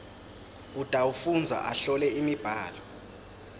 utawufundza ahlole imibhalo